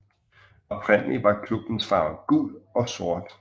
Oprindelig var klubbens farver gul og sort